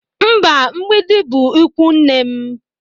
Mba, Mgbịdị bụ ikwunne m.